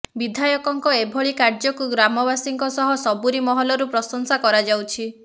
ବିଧାୟକଙ୍କ ଏଭଳି କାର୍ଯ୍ୟକୁ ଗ୍ରାମବାସୀଙ୍କ ସହ ସବୁରି ମହଲରୁ ପ୍ରଶଂସା କରାଯାଉଛି